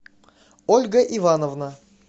ольга ивановна